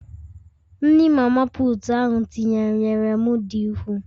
Nri mama putu ahụ tinyere nyere m di ukwuu